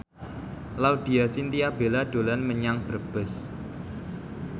Laudya Chintya Bella dolan menyang Brebes